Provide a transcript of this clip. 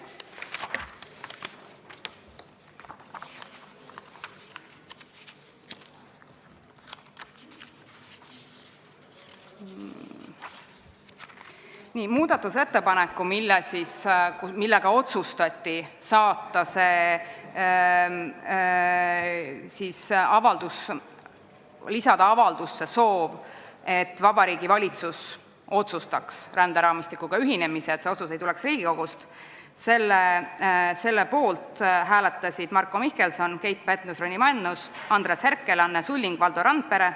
Selle muudatusettepaneku poolt, millega otsustati lisada avaldusse soov, et Vabariigi Valitsus otsustaks ränderaamistikuga ühinemise, et see otsus ei tuleks Riigikogust, hääletasid Marko Mihkelson, Keit Pentus-Rosimannus, Andres Herkel, Anne Sulling ja Valdo Randpere.